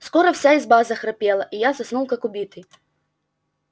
скоро вся изба захрапела и я заснул как убитый